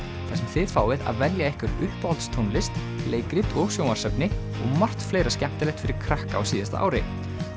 þið fáið að velja ykkar uppáhaldstónlist leikrit og sjónvarpsefni og margt fleira skemmtilegt fyrir krakka á síðasta ári